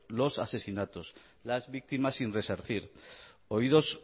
los asesinatos las víctimas sin resarcir oídos